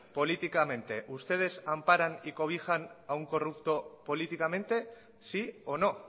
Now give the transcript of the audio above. políticamente ustedes amparan y cobijan a un corrupto políticamente sí o no